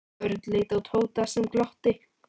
Örn leit á Tóta sem glotti.